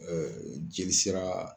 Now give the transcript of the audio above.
Ɛɛ jeli sera